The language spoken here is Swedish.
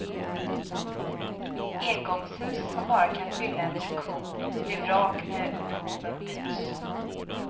Engångshus, som bara kan fylla en funktion, blir vrak när behoven byts.